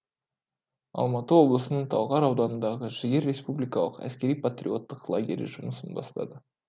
алматы облысының талғар ауданындағы жігер республикалық әскери патриоттық лагері жұмысын бастады